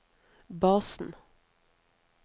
basen